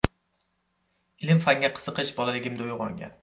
Ilm-fanga qiziqish bolaligimda uyg‘ongan.